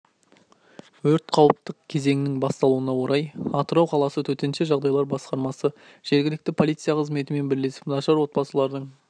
өрт қауіпті кезеңінің басталуына орй атырау қаласы төтенше жағдайлар басқармасы жергілікті полиция қызметімен бірлесіп нашар отбасылардың